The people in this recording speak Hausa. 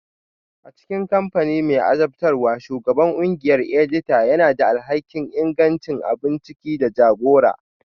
A cikin kamfani mai azabtarwa, Shugaban ƙungiyar edita yana da alhakin ingancin abun ciki da jagora